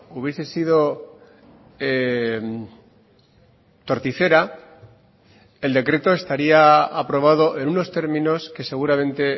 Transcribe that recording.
hubiese sido torticera el decreto estaría aprobado en unos términos que seguramente